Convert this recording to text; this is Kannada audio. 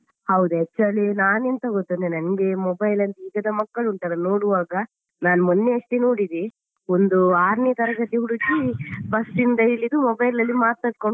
ಹೌದು actually ನಾನೆಂತ ಗೊತ್ತುಂಟಾ ನಂಗೆ. mobile ಅಲ್ಲಿ ಈಗಿನ ಮಕ್ಕಳು ಉಂಟಲ್ಲಾ ನೋಡುವಾಗ ನಾನು ಮೊನ್ನೆಯಷ್ಟೇ ನೋಡಿದೆ ಒಂದು ಆರನೇ ತರಗತಿ ಹುಡುಗಿ ಬಸ್ಸಿಂದ ಇಳಿದು mobile ಅಲ್ಲಿ ಮಾತಾಡ್ಕೊಂಡ್